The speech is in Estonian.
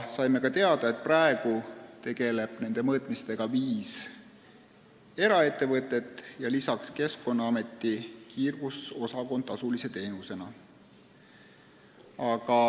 Saime ka teada, et praegu tegeleb nende mõõtmistega viis eraettevõtet ja lisaks Keskkonnaameti kiirgusosakond, kes pakub seda tasulise teenusena.